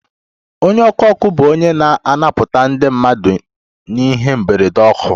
Onye ọkụ ọkụ bụ onye na-anapụta ndị mmadụ n'ihe mberede ọkụ